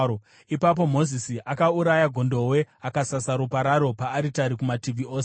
Ipapo Mozisi akauraya gondobwe akasasa ropa raro paaritari kumativi ose.